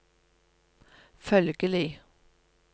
følgelig